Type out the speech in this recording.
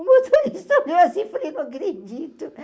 O motorista olhou assim, falei, não acredito.